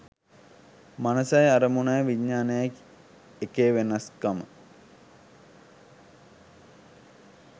මනසයි අරමුණයි විඤ්ඤාණයයි කියන එකේ වෙනස්කම